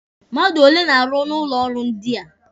Mmadụ ole na-arụ n'ụlọ ọrụ ndị a?